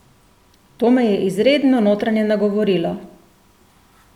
To me je izredno notranje nagovorilo!